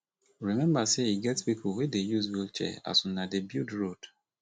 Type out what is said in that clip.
rememba sey e get pipo wey dey use wheelchair as una dey build road